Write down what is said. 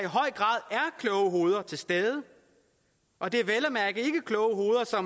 kloge hoveder til stede og det